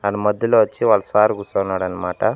ఆయన మధ్యలో వచ్చి వాళ్ళ సారు కూర్చున్నారు అనమాట.